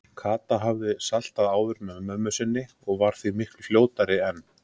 Kata hafði saltað áður með mömmu sinni og var því miklu fljótari en